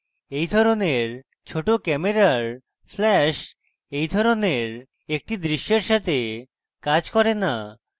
এই ধরনের ছোট camera flash এই ধরনের একটি দৃশ্যের সাথে কাজ করে না